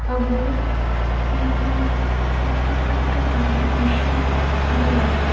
আমার একর ছোট্ট খাট্ট গাড়ি ভীষন ভাল লাগে।